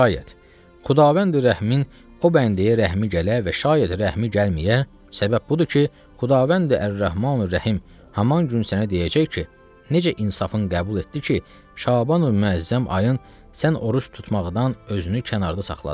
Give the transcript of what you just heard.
Və şəyyət xudavəndi rəhmin o bəndəyə rəhmi gələ və şəyyət rəhmi gəlməyə səbəb budur ki, Xudavəndi Ər-Rəhmanür-Rəhim həmin gün sənə deyəcək ki, necə insafın qəbul etdi ki, Şaban əl-Müəzzəm ayın sən oruc tutmaqdan özünü kənarda saxladın.